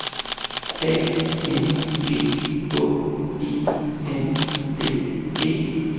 A N G Å E N D E